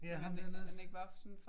Ja ham der nederst